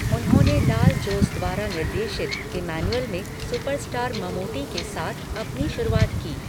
उन्होंने लाल जोस द्वारा निर्देशित 'इमैन्युअल' में सुपरस्टार ममूटी के साथ अपनी शुरुआत की।